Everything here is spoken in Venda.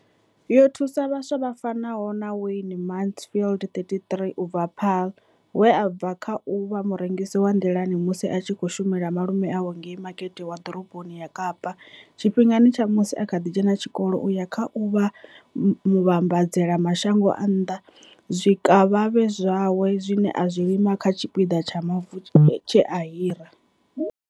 Yo thusa vhaswa vha fanaho na Wayne Mansfield, 33, u bva Paarl, we a bva kha u vha murengisi wa nḓilani musi a tshi khou shumela malume awe ngei Makete wa Ḓoroboni ya Kapa tshifhingani tsha musi a kha ḓi dzhena tshikolo u ya kha u vha muvhambadzela mashango a nnḓa zwikavhavhe zwawe zwine a zwi lima kha tshipiḓa tsha mavu tshe a hira.